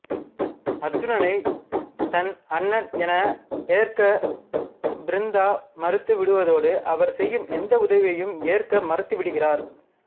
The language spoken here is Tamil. அர்ஜுனை தன் அண்ணன் என ஏற்க பிருந்தா மறுத்து விடுதோடு அவர் செய்யும் எந்த உதவியையும் ஏற்க மறுத்துவிடுகிறார்